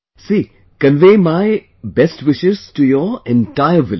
See, convey my best wishes to your entire village